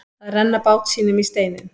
Að renna bát sínum í steininn